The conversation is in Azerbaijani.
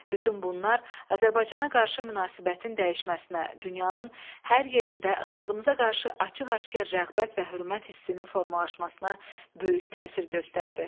Bütün bunlar Azərbaycana qarşı münasibətin dəyişməsinə, dünyanın hər yerində xalqımıza qarşı açıq-aşkar rəğbət və hörmət hissinin formalaşmasına böyük təsir göstərdi.